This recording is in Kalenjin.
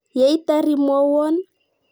Yeitar imwowon.